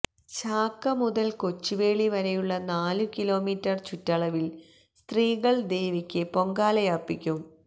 ചാക്ക മുതൽ കൊച്ചുവേളി വരെയുള്ള നാലു കിലോമീറ്റർ ചുറ്റളവിൽ സ്ത്രീകൾ ദേവിക്ക് പൊങ്കാലയർപ്പിക്കും